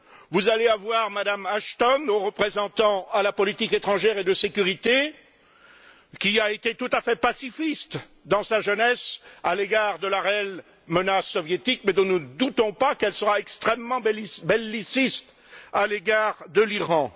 Vous allez avoir M me Ashton, haute représentante à la politique étrangère et de sécurité, qui a été tout à fait pacifiste dans sa jeunesse à l'égard de la réelle menace soviétique, mais dont nous ne doutons pas qu'elle sera extrêmement belliciste à l'égard de l'Iran.